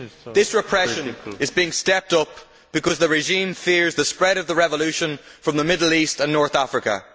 This repression is being stepped up because the regime fears the spread of revolution from the Middle East and North Africa.